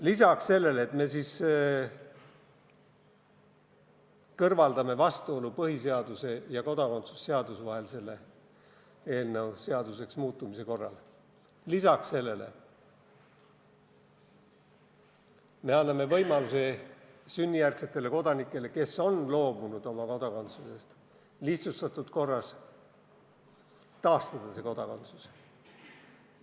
Lisaks sellele, et me kõrvaldame selle eelnõu seaduseks muutmise korral vastuolu põhiseaduse ja kodakondsuse seaduse vahel, lisaks sellele anname me sünnijärgsetele kodanikele, kes on oma kodakondsusest loobunud, võimaluse lihtsustatud korras see kodakondsus taastada.